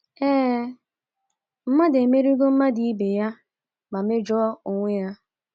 Ee, “ mmadụ emerigo mmadụ ibe ya ma mejọ onwe ya. ”